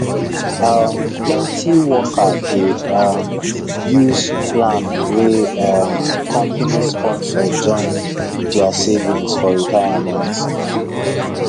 um plenty worker dey um use plan wey um company sponsor join their savings for retirement